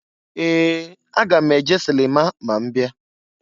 Ee! Aga m eje silima ma m bia.